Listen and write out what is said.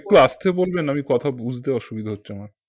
একটু আস্তে বলবেন আমি কথা বুঝতে অসুবিধে হচ্ছে আমার